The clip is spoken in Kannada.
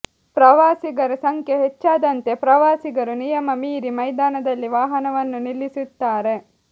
ಪ್ರವಾಸಿಗರ ಸಂಖ್ಯೆ ಹೆಚ್ಚಾದಂತೆ ಪ್ರವಾಸಿಗರು ನಿಯಮ ಮೀರಿ ಮೈದಾನದಲ್ಲಿ ವಾಹನವನ್ನು ನಿಲ್ಲಿಸುತ್ತಾರೆ